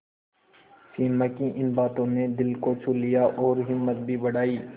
सिमा की इन बातों ने दिल को छू लिया और हिम्मत भी बढ़ाई